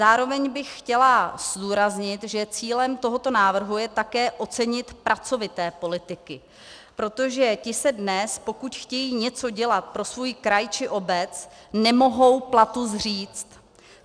Zároveň bych chtěla zdůraznit, že cílem tohoto návrhu je také ocenit pracovité politiky, protože ti se dnes, pokud chtějí něco dělat pro svůj kraj či obec, nemohou platu zříct.